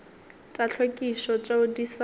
tša tlhwekišo tšeo di sa